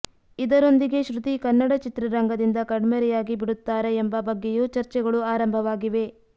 ಇದರೊಂದಿಗೇ ಶ್ರುತಿ ಕನ್ನಡ ಚಿತ್ರರಂಗದಿಂದ ಕಣ್ಮರೆಯಾಗಿ ಬಿಡುತ್ತಾರಾ ಎಂಬ ಬಗ್ಗೆಯೂ ಚರ್ಚೆಗಳು ಆರಂಭವಾಗಿವೆ